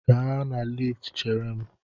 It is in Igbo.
Gaa na liftu chere m!